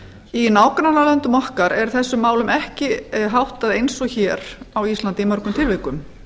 í nágrannalöndum okkar er þessum málum ekki háttað eins og hér á íslandi í mörgum tilvikum